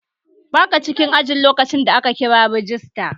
Baka cikin aji lokacin da aka kira rajista